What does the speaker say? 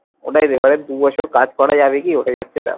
ওটাই তো এবার দু বছর কাজ করা যাবে কি ওটাই হচ্ছে ব্যাপার।